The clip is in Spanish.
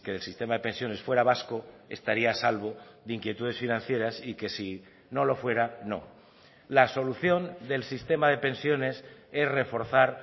el sistema de pensiones fuera vasco estaría a salvo de inquietudes financieras y que si no lo fuera no la solución del sistema de pensiones es reforzar